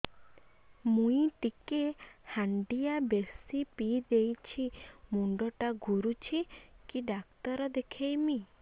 ମୁଇ ଟିକେ ହାଣ୍ଡିଆ ବେଶି ପିଇ ଦେଇଛି ମୁଣ୍ଡ ଟା ଘୁରୁଚି କି ଡାକ୍ତର ଦେଖେଇମି